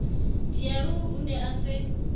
diau o ne a se